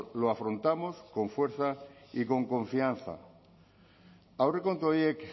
lo afrontamos con fuerza y con confianza aurrekontu horiek